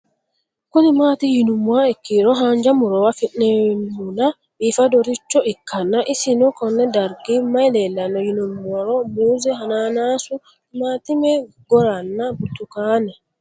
Kuni mati yinumoha ikiro hanja murowa afine'mona bifadoricho ikana isino Kone darga mayi leelanno yinumaro muuze hanannisu timantime gooranna buurtukaane